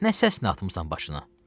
Nə səsini atmısan başına?